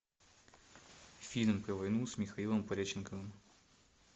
фильм про войну с михаилом пореченковым